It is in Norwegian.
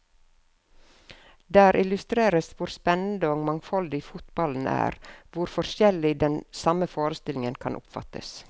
Der illustreres hvor spennende og mangfoldig fotballen er, hvor forskjellig den samme forestillingen kan oppfattes.